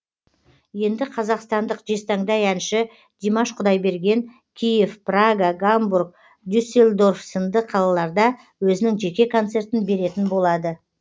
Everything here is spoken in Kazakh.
енді қазақстандық жезтаңдай әнші димаш құдайберген киев прага гамбург дюсельдорф сынды қалаларда өзінің жеке концертін беретін болады